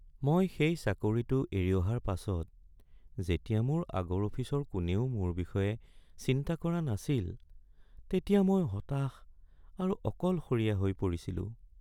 মই সেই চাকৰিটো এৰি অহাৰ পাছত যেতিয়া মোৰ আগৰ অফিচৰ কোনেও মোৰ বিষয়ে চিন্তা কৰা নাছিল তেতিয়া মই হতাশ আৰু অকলশৰীয়া হৈ পৰিছিলোঁ।